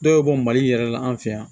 Dɔw bɛ bɔ mali yɛrɛ la an fɛ yan